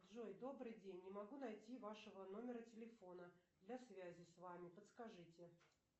джой добрый день не могу найти вашего номера телефона для связи с вами подскажите